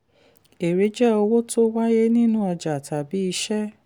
èrè jẹ́ owó tó wáyé nínú ọjà tàbí iṣẹ́.